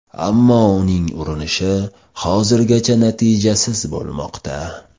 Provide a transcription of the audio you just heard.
Ammo uning urinishi hozirgacha natijasiz bo‘lmoqda.